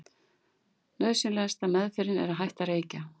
nauðsynlegasta „meðferðin“ er að hætta að reykja